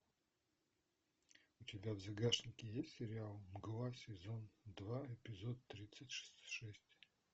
у тебя в загашнике есть сериал мгла сезон два эпизод тридцать шесть